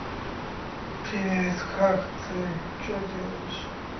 привет как ты что делаешь